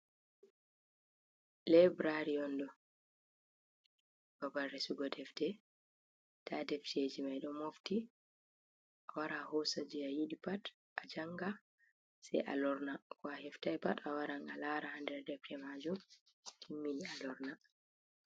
Laibirari on ɗo babal sorugo defte nda defteji mai ɗo mofti a wara hosa je a yiɗi pat a janga sai a lorna ko a heftai pat a waran a lara nder defte majum nden a larai a timmini a lorna.